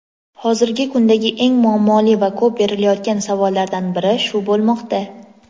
Hozirgi kundagi eng muammoli va ko‘p berilayotgan savollardan biri shu bo‘lmoqda.